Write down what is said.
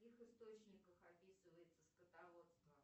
в каких источниках описывается скотоводство